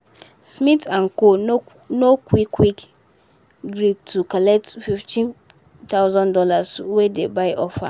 smith & co. no qu no quick quick gree to collect fifteen thousand dollars wey di buy offer.